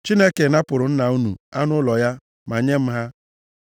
Chineke napụrụ nna unu anụ ụlọ ya ma nye m ha.